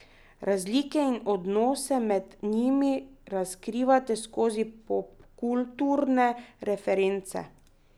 Razlike in odnose med njimi razkrivate skozi popkulturne reference.